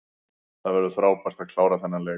Það var frábært að klára þennan leik.